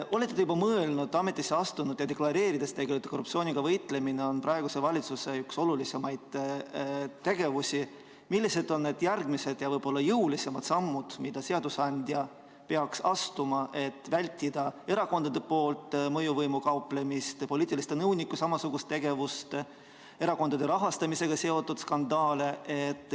Olete te juba mõelnud, olles ametisse astunud ja deklareerinud, et korruptsiooniga võitlemine on praeguse valitsuse üks olulisimaid tegevusi, millised on järgmised ja võib-olla jõulisemad sammud, mida seadusandja peaks astuma, et vältida erakondade mõjuvõimuga kauplemist, poliitiliste nõunike samasugust tegevust, erakondade rahastamisega seotud skandaale?